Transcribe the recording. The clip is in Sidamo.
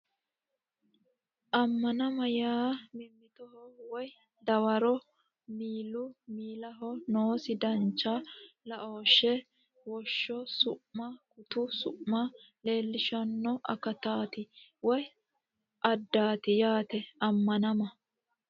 Ammanama yaa mimmitoho woy Dawaro miilu miilaho noosi dancha laooshshe Woshsho su ma Gutu su ma leellishanno akataati woy aadaati yaate Ammanama.